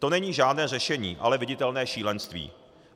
To není žádné řešení, ale viditelné šílenství.